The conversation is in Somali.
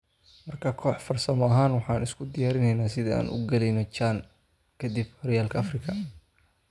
"Marka koox farsamo ahaan waxaan isku diyaarineynaa sida aan u galeyno CHAN ka dib xooryalka afrika.